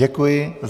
Děkuji.